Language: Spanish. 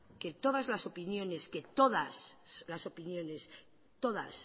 que todas las opiniones todas las opiniones todas